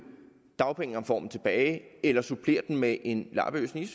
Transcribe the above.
dagpengereformen tilbage eller supplere den med en lappeløsning